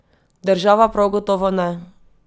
Država prav gotovo ne!